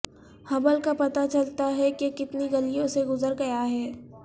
Hubble کا پتہ چلتا ہے کہ کتنی گلیوں سے گزر گیا ہے